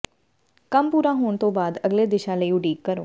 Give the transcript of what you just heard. ਕੰਮ ਪੂਰਾ ਹੋਣ ਤੋਂ ਬਾਅਦ ਅਗਲੇ ਦਿਸ਼ਾ ਲਈ ਉਡੀਕ ਕਰੋ